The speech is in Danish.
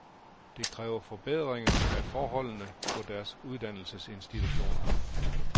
De kræver forbedringer af forholdene på deres uddannelsesinstitutioner.